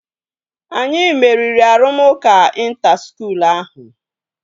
Anyi meriri arụmụka ịnta skuul ahụ